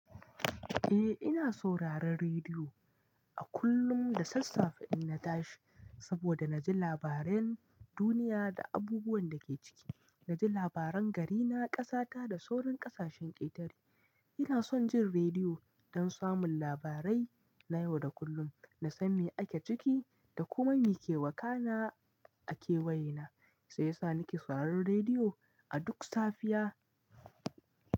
Eh ina sauraron rediyo a kullum da sassafe in na tashi saboda na ji labaran duniya da abubuwan da ke ciki. Na ji labaran garina, ƙasata da sauran ƙasashen ƙetare. Ina son jin rediyo don samun labarai na yau da kullum, na san me ake ciki da kuma me ke wakana a kewaye na. Sai sa ni ke sauraron rediyo a duk safiya.